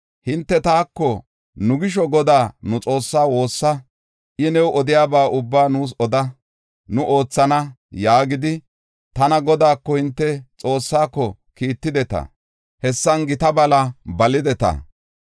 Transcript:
Hinte taako, ‘Nu gisho Godaa nu Xoossaa woossa; I new odiyaba ubbaa nuus oda; nu oothana’ yaagidi, tana Godaako, hinte Xoossaako, kiittideta; hessan gita bala balideta.